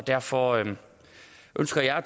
derfor ønsker jeg